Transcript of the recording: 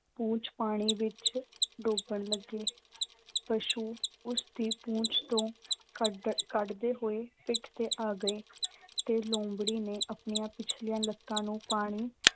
ਪੂਛ ਪਾਣੀ ਵਿੱਚ ਡੋਬਣ ਲੱਗੇ ਪਸ਼ੂ ਉਸਦੀ ਪੂਛ ਤੋਂ ਕੱਢ ਅਹ ਕੱਢਦੇ ਹੋਏ ਪਿੱਠ ਤੇ ਆ ਗਏ ਤੇ ਲੂੰਬੜੀ ਨੇ ਆਪਣੀਆਂ ਪਿਛਲੀਆਂ ਲੱਤਾਂ ਨੂੰ ਪਾਣੀ